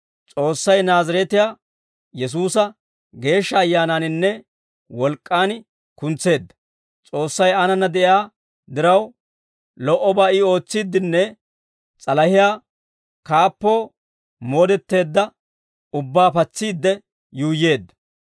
S'oossay Naazireetiyaa Yesuusa Geeshsha Ayyaanaaninne wolk'k'aan kuntseedda; S'oossay aanana de'iyaa diraw, lo"obaa I ootsiiddinne s'alahiyaa kaappoo moodetteedda ubbaa patsiidde yuuyyeedda.